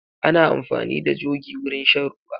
Ana amfani da jogi wurin shan ruwa.